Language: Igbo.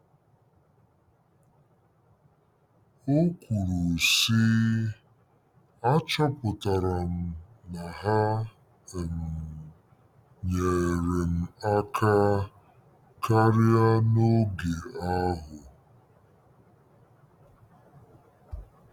O kwuru, sị: “ Achọpụtara m na ha um nyeere m aka karị n'oge ahụ.